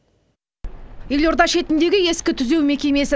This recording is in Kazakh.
елорда шетіндегі ескі түзеу мекемесі